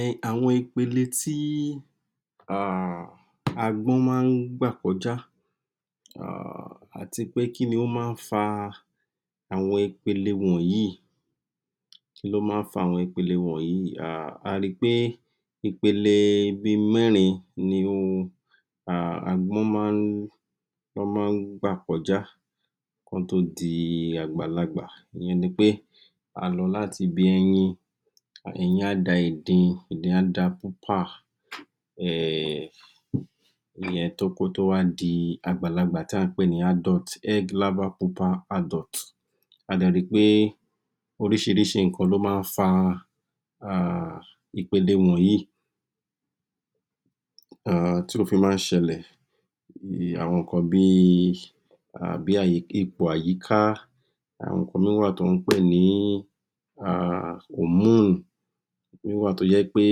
um àwọn ipele ti um agbọ́n máa ń gbà kọjá um àti pé kí ni ó máa ń fa àwọn ipele wọ̀nyí, kíló máa ń fa àwọn ipele wọ̀nyí um a ri pé ipele bí mẹ́rin ni um agbọ́n máa ń, lọ́ máa ń gbà kọjá kán tó di àgbàlagbà, ìyẹn nipe, a lọ láti ibi ẹyin, ẹyin á da ìdin, ìdin á da um kó tó wá di àgbàlagbà tí à ń pè ní (Adult), (Egg --– Adult) a dẹ̀ ri pé oríṣiríṣi nǹkan ló máa ń fa ipele wọ̀nyí um tí ó fi máa ń ṣẹlẹ̀, àwọn nǹkan bi ipò àyíká, àwọn nǹkan mí wà tí wọ́n pè ni um (Hormone) èmí wà tó yé pé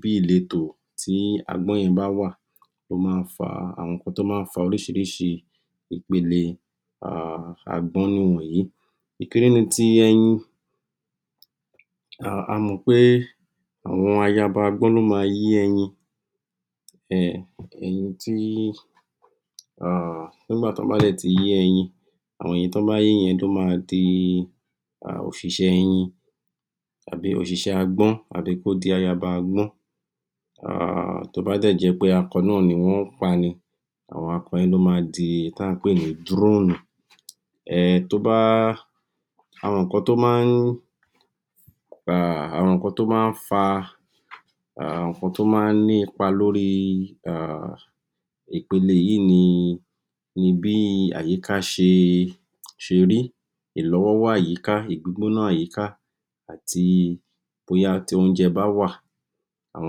bí ìletò tí agbọ́n yẹn bá wà, ó máa ń fa, àwọn nǹkan tó máa ń fa oríṣiriṣi ipele um agbọ́n ni wọ̀nyí. Kékeré ni ti ẹyin um a mọ̀ pé àwọn ayaba agbọ́n ló ma yé ẹyin um ẹyin tí um nígbà tí wọ́n bá dẹ̀ ti yé ẹyin, àwọn ẹyin tí wọ́n bá yé yẹn ló ma di um òṣìṣẹ́ ẹyin àbí oṣìṣẹ́ agbọ́n àbí kó di ayaba agbọ́n, um tó bá dẹ̀ jẹ́ pé akọ náà ni wọ́n pa ni, àwọn akọ yẹn ni ó ma di oun ta ń pè ni (Drone), tó bá, àwọn nǹkan tó máa ń um, àwọn nǹkan tó máa ń fa um àwọn nǹkan tó máa ń ní ipa lórí um ipele yì í ni bí àyíká ṣe rí, ìlọ́wọ́rọ́ àyíká, ìgbígbóná àyíká àti bóyá tí oúnjẹ bá wà, àwọn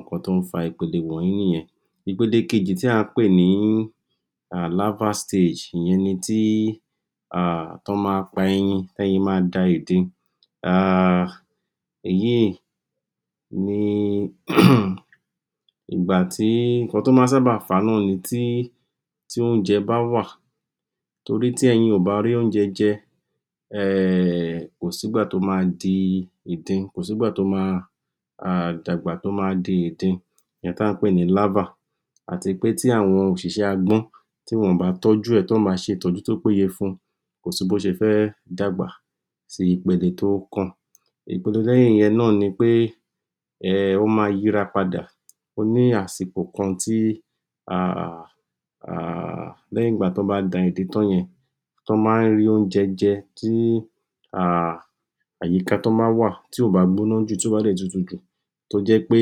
nǹkan tó ń fa ipele wọ̀nyí nìyẹn. Ipele kejì tí à ń pè ní ìyẹn ni tí um, tọ́ ma pa ẹyin, tẹ́yin ma da ìdin um èyí ni um ìgbà tí, nǹkan tó máa ń sábà fà á náà ni tí, tí oúnjẹ bá wà, torí tí ẹyin ò bá rí oúnjẹ jẹ um kò sígbà tó ma di ìdin, kò sígbà tó ma dàgbà tó ma di ìdin, ìyẹn ta ń pè ni àti pé tí àwọn òṣìṣẹ́ agbọ́n tí wọn ò á tọ́jú ẹ̀, tí wọn ò bá ṣe ìtọ́jú tó péye fún kò sí bó ṣe fẹ́ dàgbà sí ipele tó kàn. Ìpele lẹ́yin ìyẹn náà ni pé um ó ma yíra padà, ó ní àsìkò kan tí um um lẹ́yìn ìgbà tọ́ bá da ìdin tán yẹn, tó bá ń rí oúnjẹ jẹ, tí um àyíká tọ́ bá wà, tí ò bá gbóná jù, tí ò bá tutú jù tó jẹ́ pé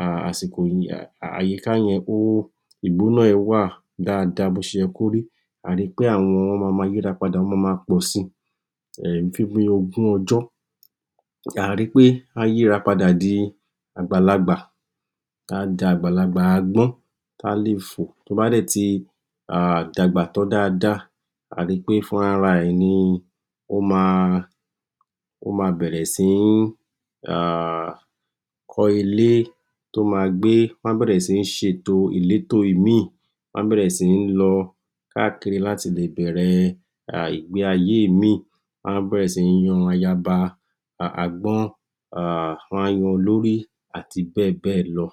um àsìkò àyíká yẹn ó, ìgbóná ẹ̀ wà daada bó ṣe ye kó rí, àá ri pé àwọn ọmọ wọn ma yíra padà wọ́n ma ma pọ̀si, um fún bí ogún ọjọ́, àá ri pé á yíra padà di àgbàlagbà, á dàgbàlagbà agbọ́n tá lè fò, tó bá dẹ̀ ti um dàgbà tán daada àá ri pé fúnra ra ẹ̀ ni ó ma, ó ma bẹ̀rẹ̀ sí ń um kọ́ ilé tó ma gbé, wọ́n á bẹ̀rẹ̀ sí ní ṣetò ìlétò èmí-ìn, wọn á bẹ̀rẹ̀ sí ní lọ káàkiri láti lè bẹ̀rẹ̀ ìgbé ayé èmí-ìn, wọ́n á bẹ̀rẹ̀ sí ní yan ayaba agbọ́n um, wọ́n á yan olórí àti bẹ́ẹ̀ bẹ́è lọ.